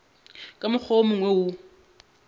ka mokgwa wo mongwe o